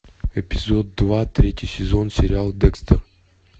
эпизод два третий сезон сериал декстер